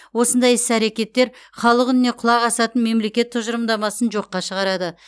осындай іс әрекеттер халық үніне құлақ асатын мемлекет тұжырымдамасын жоққа шығарады